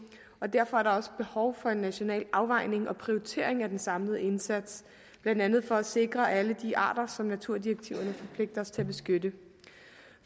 og derfor er der også behov for en national afvejning og prioritering af den samlede indsats blandt andet for at sikre alle de arter som naturdirektiverne forpligter os til at beskytte